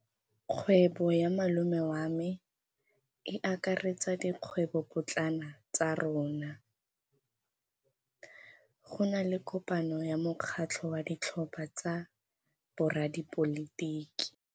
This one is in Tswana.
Kgwêbô ya malome wa me e akaretsa dikgwêbôpotlana tsa rona. Go na le kopanô ya mokgatlhô wa ditlhopha tsa boradipolotiki.